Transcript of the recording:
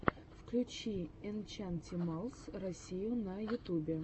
включи энчантималс россию на ютубе